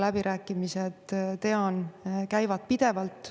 Läbirääkimised tean, käivad pidevalt.